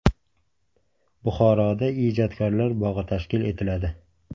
Buxoroda Ijodkorlar bog‘i tashkil etiladi.